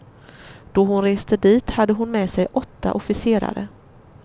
Då hon reste dit hade hon med sig åtta officerare.